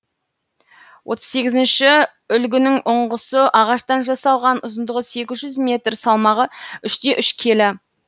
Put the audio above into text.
отвз сегізінші үлгінің ұңғысы ағаштан жасалған ұзындығы сегіз жүз метр салмағы үш те үш келі